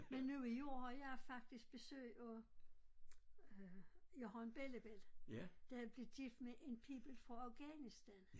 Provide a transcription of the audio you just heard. Men nu i år har jeg faktisk besøg af øh jeg har en bellabelli der er blevet gift med en pibel fra Afghanistan